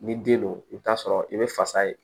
Ni den don i bɛ taa sɔrɔ i bɛ fasa ye